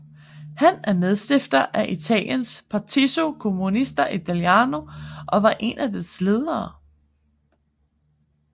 Han er medstifter af Italiens Partito Comunista Italiano og var en af dets ledere